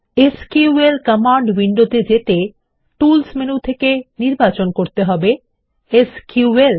SQL command উইন্ডোতে যেতে tools menu থেকে নির্বাচন করতে হবে এসকিউএল